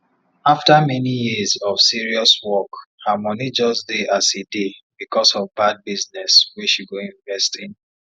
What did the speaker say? after many years of serious work her money just dey as e dey because of bad business wey she go invest in